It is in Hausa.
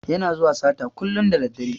Yana zuwa sata kullun da daddare.